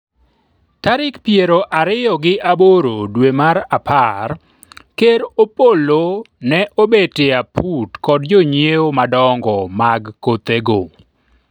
Tarik piero ariyo gi aboro dwe mar apar, ker Opollo ne obet e aput kod jonyiewo madongo mag kothego